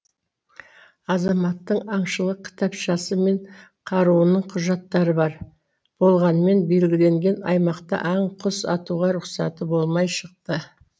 азаматтың аңшылық кітапшасы мен қаруының құжаттары бар болғанымен белгіленген аймақта аң құс атуға рұқсаты болмай шықты